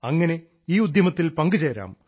അങ്ങനെ ഈ ഉദ്യമത്തിൽ പങ്കുചേരാം